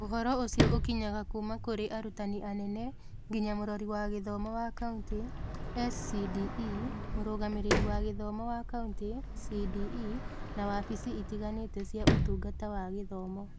Ũhoro ũcio ũkinyaga kuuma kũrĩ arutani anene nginya Mũrori wa Gĩthomo wa Kauntĩ (SCDE), Mũrũgamĩrĩri wa Gĩthomo wa Kaunti (CDE), na wabici itiganĩte cia Ũtungata wa Gĩthomo.